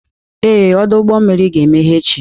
Ee, ọdụ ụgbọ mmiri ga-emeghe echi.